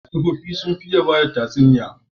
Tsofaffi sun fi iya bada tsatuniya